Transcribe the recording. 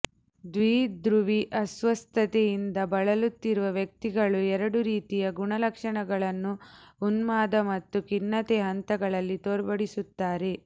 ದ್ವಿಧ್ರುವಿ ಅಸ್ವಸ್ಥತೆಯಿಂದ ಬಳಲುತ್ತಿರುವ ವ್ಯಕ್ತಿಗಳು ಎರಡು ರೀತಿಯ ಗುಣ ಲಕ್ಷಣಗಳನ್ನು ಉನ್ಮಾದ ಮತ್ತು ಖಿನ್ನತೆಯ ಹಂತಗಳಲ್ಲಿ ತೋರ್ಪಡಿಸುತ್ತಾರೆ